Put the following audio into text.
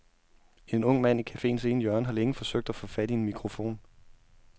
En ung mand i cafeens ene hjørne har længe forsøgt at få fat i en mikrofon.